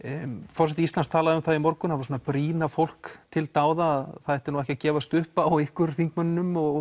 forseti Íslands talaði um það í morgun hann var svona að brýna fólk til dáða að það ætti nú ekki að gefast upp á ykkur þingmönnunum og